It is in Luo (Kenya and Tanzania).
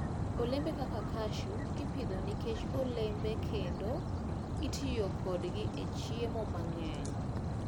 Olembe kaka cashew ipidho nikech olembe kendo itiyo kodgi e chiemo mang'eny.